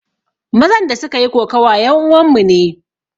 Mazan da suka yi kokawa yan uwan mu ne